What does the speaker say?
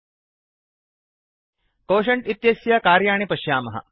quotient इत्यस्य कार्याणि पश्यामः